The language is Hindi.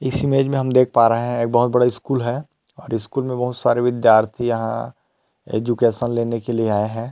इस इमेज में हम देख पा रहे है बहुत बड़ा स्कूल है और स्कूल में बहुत सारे विद्यार्थी यहाँ एजुकेशन लेने के लिए आए हैं।